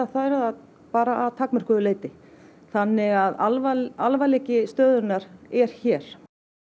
þær það bara að takmörkuðu leyti þannig að alvarleiki alvarleiki stöðunnar er hér